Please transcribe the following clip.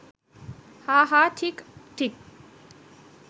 হাঁ হাঁ, ঠিক ঠিক